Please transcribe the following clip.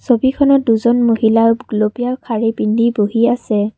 ছবিখনত দুজন মহিলা গুলপীয়া শাৰী পিন্ধি বহি আছে।